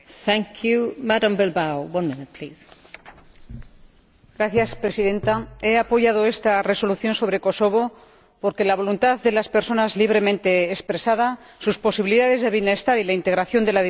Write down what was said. He apoyado esta Resolución sobre Kosovo porque la voluntad de las personas libremente expresada, sus posibilidades de bienestar y la integración de la diversidad como base de la paz y la estabilidad son parte de los valores fundacionales de la Unión.